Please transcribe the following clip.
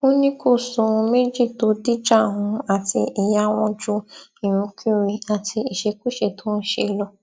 ó ní kò sóhun méjì tó dìjà òun àti ìyá wọn ju irinkurin àti ìṣekúṣe tó ń ṣe lọ